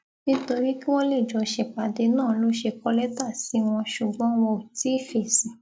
nítorí kí wọn lè jọ ṣèpàdé náà ló ṣe kọ lẹtà sí wọn ṣùgbọn wọn ò tí ì fèsì